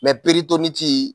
peritonitii